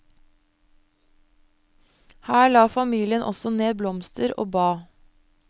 Her la familien også ned blomster og ba.